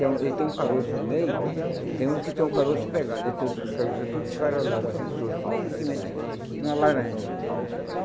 É um Ele tem um caroço no meio, tem uns que tem o caroço pegado, ele tem outros que o caroço é todo esfarelado, assim, solto, que nem semente de uma laranja.